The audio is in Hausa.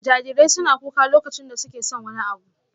Jarirai suna kuka lokacin da suke son wani abu.